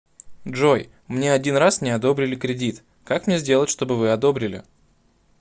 джой мне один раз не одобрили кредит как мне сделать чтобы вы одобрили